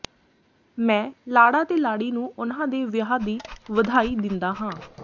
ਮੈਂ ਲਾੜਾ ਤੇ ਲਾੜੀ ਨੂੰ ਉਨ੍ਹਾਂ ਦੇ ਵਿਆਹ ਦੀ ਵਧਾਈ ਦਿੰਦਾ ਹਾਂ